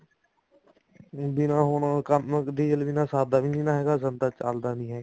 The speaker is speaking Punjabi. ਜਿਵੇਂ ਹੁਣ ਕੰਮ ਡੀਜਲ ਬਿਨਾ ਸਰਦਾ ਵੀ ਨੀ ਹੈਗਾ ਸੰਦਾ ਚੱਲਦਾ ਹੀ ਹੈਗਾ